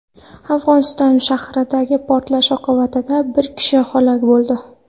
Afg‘oniston sharqidagi portlash oqibatida bir kishi halok bo‘ldi.